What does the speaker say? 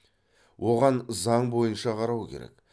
оған заң бойынша қарау керек